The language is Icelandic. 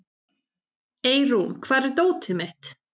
Eirún, hvar er dótið mitt?